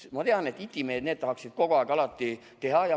Ma tean, et itimehed, need tahaksid kogu aeg teha.